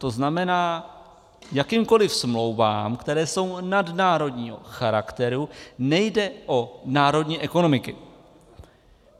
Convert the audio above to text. To znamená, jakýmkoliv smlouvám, které jsou nadnárodního charakteru, nejde o národní ekonomiky.